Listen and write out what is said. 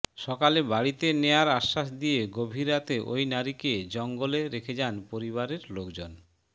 সকালে বাড়িতে নেয়ার আশ্বাস দিয়ে গভীর রাতে ওই নারীকে জঙ্গলে রেখে যান পরিবারের লোকজন